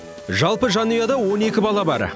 жалпы жанұяда он екі бала бар